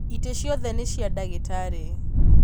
Itĩ ciothe nĩ cia ndagĩtarĩ